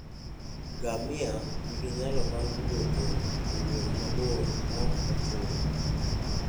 Ngamia nigi nyalo mar wuotho e wuoth mabor maok ochune.